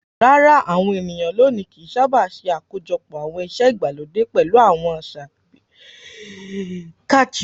Rárá, àwọn ènìyàn lónìí kì í sábà ṣe àkójọpọ̀ àwọn ìṣe ìgbàlódé pẹ̀lú àwọn àṣà ìbẹ̀rẹ̀ ìbílẹ̀.